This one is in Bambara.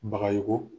Bagayogo